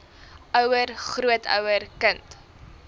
ouer grootouer kind